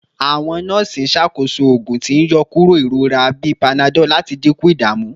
Awọn nọọsi n ṣakoso oogun ti n yọkuro irora bi panadol lati dinku idamu